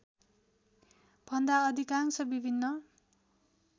भन्दा अधिकांश विभिन्न